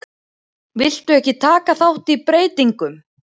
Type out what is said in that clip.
Vildu ekki taka þátt í breytingum